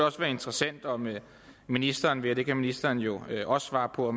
også være interessant om ministeren vil og det kan ministeren jo også svare på